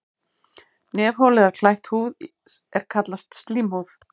Nefholið er klætt húð er kallast slímhúð.